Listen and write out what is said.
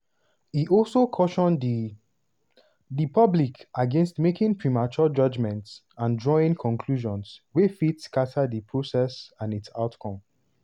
e also caution di di public against making "premature judgments or drawing conclusions wey fit scata di process and its outcome".